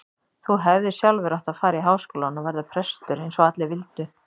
Þú hefðir sjálfur átt að fara í Háskólann og verða prestur eins og allir vildu.